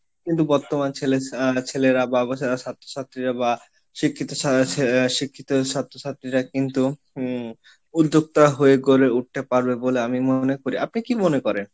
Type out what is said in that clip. কিন্তু বর্তমান ছেলে, ছেলেরা বা অবসরের ছাত্র ছাত্রীরা বা শিক্ষিত শিক্ষিত ছাত্র ছাত্রীরা কিন্তু উদ্যোক্তা হয়ে গড়ে উঠতে পারবে বলে আমি মনে করি, আপনি কি মনে করেন?